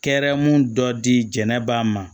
Kɛrɛmu dɔ dila ba ma